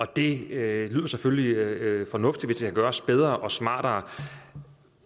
det lyder selvfølgelig fornuftigt kan gøres bedre og smartere